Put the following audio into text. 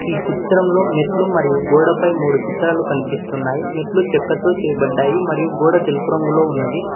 ఈ చిత్రంలో మెట్లు మరియు గోడ పై మూడు చిత్రాలు కనిపిస్తున్నాయి మెట్లు చెక్కతో చేయబడ్డాయి మరియు గోడ తెలుపు రంగులో ఉన్నది.